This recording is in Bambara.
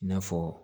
I n'a fɔ